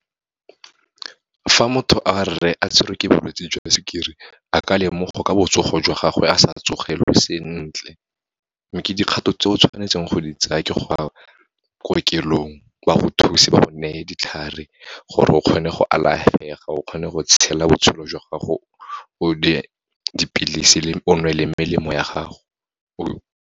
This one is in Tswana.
Fa motho wa rre a tshwerwe ke bolwetse jwa sukiri, a ka lemoga ka botsogo jwa gagwe, a sa tsogelwe sentle. Mme ke dikgato tse o tshwanetseng go di tsaya ke go a kokelong, ba go thuse, ba go neye ditlhare gore o kgone go alafega, o kgone go tshela botshelo jwa gago, o dipilisi, o nwe le melemo ya gago .